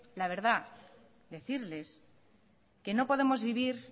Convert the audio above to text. la verdad decirles que no podemos vivir